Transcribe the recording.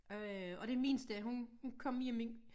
Øh og den mindste hun hun kom hjem i